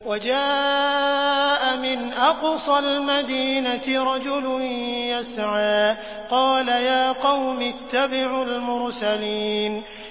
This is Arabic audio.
وَجَاءَ مِنْ أَقْصَى الْمَدِينَةِ رَجُلٌ يَسْعَىٰ قَالَ يَا قَوْمِ اتَّبِعُوا الْمُرْسَلِينَ